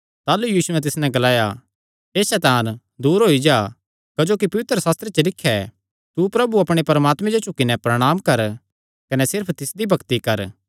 ताह़लू यीशुयैं तिस नैं ग्लाया हे सैतान दूर होई जा क्जोकि पवित्रशास्त्रे च लिख्या ऐ तू प्रभु अपणे परमात्मे जो झुकी नैं प्रणांम कर कने सिर्फ तिसदी भक्ति कर